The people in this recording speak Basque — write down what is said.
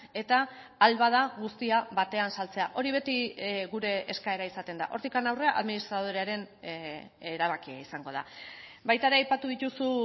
eta ahal bada guztia batean saltzea hori beti gure eskaera izaten da hortik aurrera administradorearen erabakia izango da baita ere aipatu dituzu